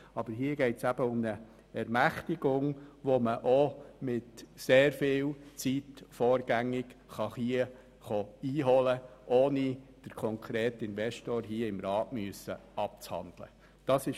Aber hier geht es eben um eine Ermächtigung, die man auch mit sehr viel Zeit vorgängig einholen kann, ohne den konkreten Investor im Rat abhandeln zu müssen.